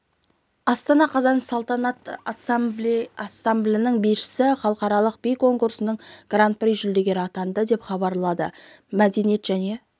астана қазан салтанат ансамблінің бишісі халықаралық би конкурсының гран-при жүлдегері атанды деп хабарлады мәдениет және